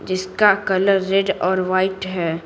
जिसका colour red और white है।